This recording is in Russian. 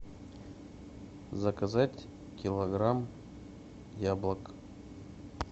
заказать килограмм яблок